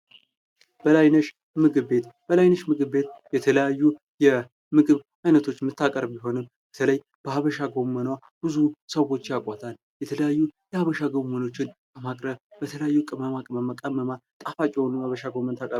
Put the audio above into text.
በላይነሽ ምግብ ቤት፦ በላይነሽ ምግብ ቤት የተለያዩ የምግብ ዓይነቶችን የምታቀርብ ቢሆንም በተለይ በሀበሻ ጎመን ብዙ ሰዎች ያውቋታል። የተለያዩ የሀበሻ ጎመኖችን በማቅረብ በተለያዩ ቅመማ ቅመሞች ቀምማ ጣፋጭ የሆኑ የሀበሻ ጎመኖችን ታቀርባለች።